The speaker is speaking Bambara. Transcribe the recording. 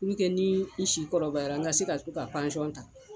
N kɛ ni i si kɔrɔbaya n ka se ka taa ka pansɔnɔn ta